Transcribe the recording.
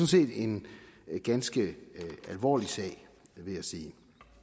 set en ganske alvorlig sag vil jeg sige